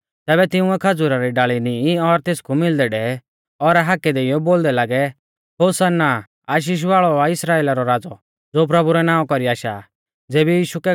तैबै तिंउऐ खज़ूरा री डाल़ी नींई और तेसकु मिलदै डेवै और हाकै देइयौ बोलदै लागै होसाना आशीष वाल़ौ आ इस्राइला रौ राज़ौ ज़ो प्रभु रै नावां कौरी आशा आ